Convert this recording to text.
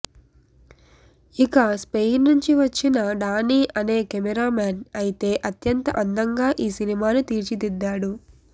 ఇక స్పెయిన్ నుంచి వచ్చిన డానీ అనే కెమెరామెన్ అయితే అత్యంత అందంగా ఈ సినిమాను తీర్చిదిద్దాడు